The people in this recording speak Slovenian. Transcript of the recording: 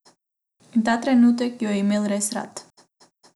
In ta trenutek jo je imel res rad.